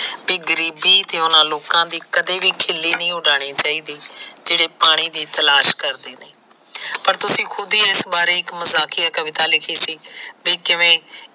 B ਗਰੀਬੀ ਤੇ ਉਹਨਾ ਲੋਕਾ ਦੀ ਕਦੇ ਵੀ ਖਿੱਲੀ ਨਈ ਉਡਾਣੀ ਚਾਹੀਦੀ ਜਿਹੜੇ ਪਾਣੀ ਦੀ ਤਲਾਸ਼ ਕਰਦੇ ਨੇ ਪਰ ਤੁਸੀ ਖੁਦ ਹੀ ਇਸ ਬਾਰੇ ਇੱਕ ਮਜਾਕਿਆ ਕਵਿਤਾ ਲਿਖੀ ਸੀ ਬੀ ਕਿਵੇਂ